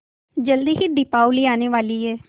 जल्दी ही दीपावली आने वाली है